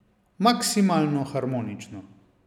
Maksimalno harmonično!